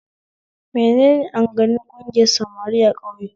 Menene amganin ƙungiyar samari a ƙauye?